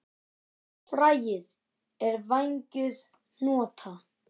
Fræið er vængjuð hnota.